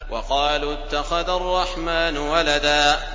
وَقَالُوا اتَّخَذَ الرَّحْمَٰنُ وَلَدًا